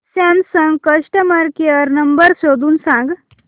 Samsung customer care number शोधून सांग